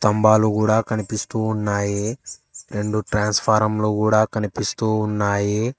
స్తంబాలు గూడా కనిపిస్తూ ఉన్నాయి రెండు ట్రాన్స్ఫారం లు గూడా కనిపిస్తూ ఉన్నాయి.